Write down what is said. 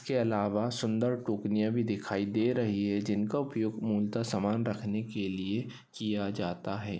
इसके अलावा सुंदर टोकनिया भी दिखाई दे रही है जिनका उपयोग मुलता सामान रखने के लिए किया जाता है।